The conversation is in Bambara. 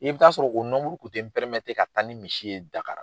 I bi ta sɔrɔ o kun ti ka taa ni misi ye Dakari.